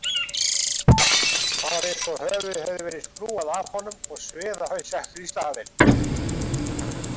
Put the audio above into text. Það var eins og höfuðið hefði verið skrúfað af honum og sviðahaus settur í staðinn.